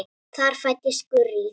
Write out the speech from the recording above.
Þar fæddist Gurrý.